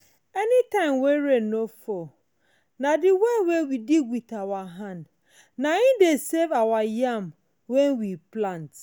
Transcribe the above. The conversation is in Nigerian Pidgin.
anytim wen rain nor fall na de well wen we dig wit our hand nai dey save our yam wen we plant.